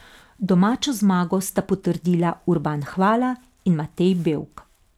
Domačo zmago sta potrdila Urban Hvala in Matej Bevk.